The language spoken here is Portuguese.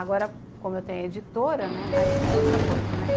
Agora, como eu tenho editora, né, aí é outra coisa, né.